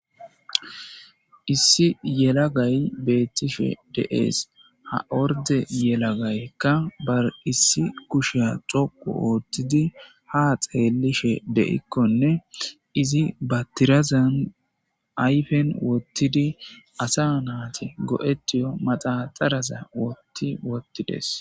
Issi yelagay beettishe de7ees ha orde yelagaykka bar issi kushiya xoqu oothtidi ha xeelishe de7ikkonne izi batirazan ayfen wottidi asa naati go7etiyo maxaxaraza wotti wottides.